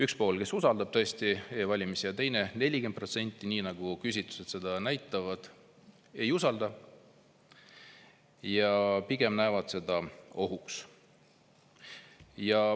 Üks pool, kes usaldab tõesti e-valimisi, ja teine, 40%, nii nagu küsitlused näitavad, ei usalda ja pigem peab seda ohuks.